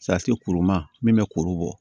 kuru ma min bɛ kuru bɔ